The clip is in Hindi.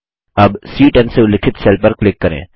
अब सी10 से उल्लिखित सेल पर क्लिक करें